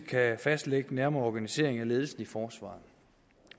kan fastlægge den nærmere organisering af ledelsen i forsvaret